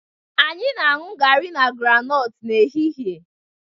Anyị na-aṅụ garri na groundnut n'ehihie